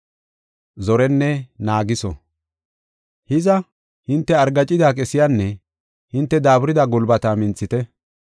Hiza, hinte argaacida qesiyanne hinte daaburida gulbata minthite.